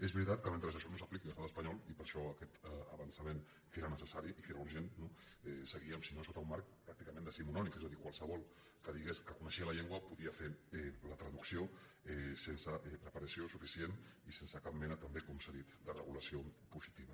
és veritat que mentre això no s’apliqui a l’estat espa·nyol i per això aquest avançament que era necessari i que era urgent seguíem si no sota un marc pràcti·cament decimonònic és a dir qualsevol que digués que coneixia la llengua podia fer la traducció sense preparació suficient ni sense cap mena també com s’ha dit de regulació positiva